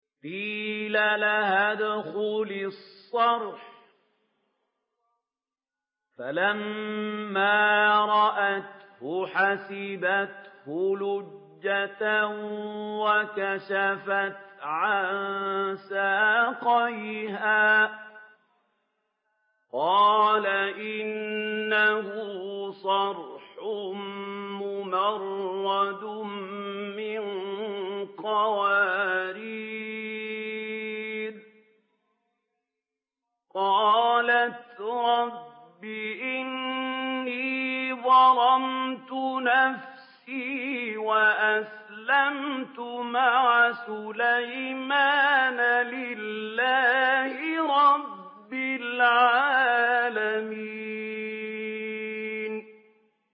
قِيلَ لَهَا ادْخُلِي الصَّرْحَ ۖ فَلَمَّا رَأَتْهُ حَسِبَتْهُ لُجَّةً وَكَشَفَتْ عَن سَاقَيْهَا ۚ قَالَ إِنَّهُ صَرْحٌ مُّمَرَّدٌ مِّن قَوَارِيرَ ۗ قَالَتْ رَبِّ إِنِّي ظَلَمْتُ نَفْسِي وَأَسْلَمْتُ مَعَ سُلَيْمَانَ لِلَّهِ رَبِّ الْعَالَمِينَ